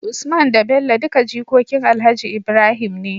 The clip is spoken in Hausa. Usman da Bello duka jikokin alhaji Ibrahim ne